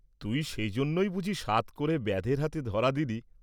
"তুই সেই জন্যই বুঝি সাধ করে ব্যাধের হাতে ধরা দিলি?"